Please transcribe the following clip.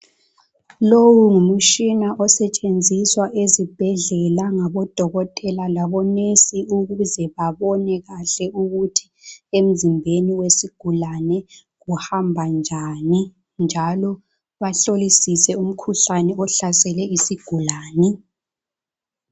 Lowu ngumtshina osetshenziswa ezibhedlela langabodokotela langabo"nurse" ukuze babone kahle ukuthi emzimbeni wesigulane kuhamba njani njalo bahlolisise umkhuhlane ohlasele isigulane.